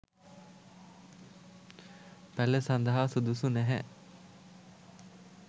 පැළ සඳහා සුදුසු නැහැ.